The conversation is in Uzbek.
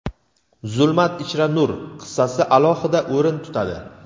"Zulmat ichra nur" qissasi alohida o‘rin tutadi.